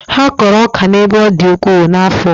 Ha kọrọ ọka n'ebe ọ dị ukwuu n'afọ.